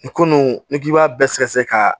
Nin ko nunnu n'i k'i b'a bɛɛ sɛgɛsɛgɛ k'a